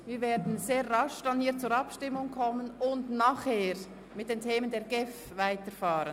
Wir werden nach der Pause sehr rasch zur Abstimmung kommen und anschliessend mit den Geschäften der GEF weiterfahren.